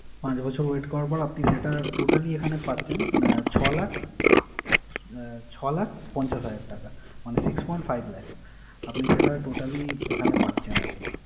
পাঁচ বছর wait করার পর আপনি সেটা totally এখানে পাচ্ছেন আহ ছয় লাখ আহ ছয় লাখ পঞ্চাশ হাজার টাকা। মানে six point five lakh আপনি সেটা totally এখানে পাচ্ছেন আরকি।